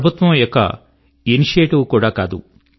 ప్రభుత్వం యొక్క ఇనిషియేటివ్ కూడా కాదు